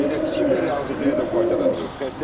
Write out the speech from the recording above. Ciyəsi elə tikiblər, ağzı dünyada qapıda durub.